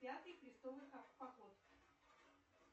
пятый крестовый поход